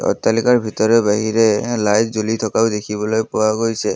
অট্টালিকাৰ ভিতৰে বাহিৰে এ লাইট জ্বলি থকাও দেখিবলৈ পোৱা গৈছে।